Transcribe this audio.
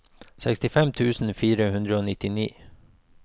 sekstifem tusen fire hundre og nittini